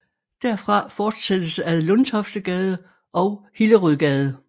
Derfra fortsættes ad Lundtoftegade og Hillerødgade